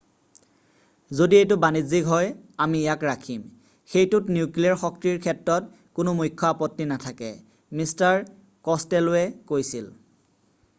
"""যদি এইটো বাণিজ্যিক হয় আমি ইয়াক ৰাখিম। সেইটোত নিউক্লিয়েৰ শক্তিৰ ক্ষেত্ৰত কোনো মুখ্য আপত্তি নাথাকে" মিষ্টাৰ ক'ছটেল'ৱে কৈছিল।""